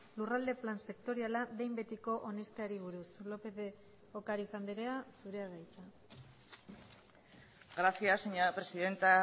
lurralde plan sektoriala behin betiko onesteari buruz lópez de ocariz andrea zurea da hitza gracias señora presidenta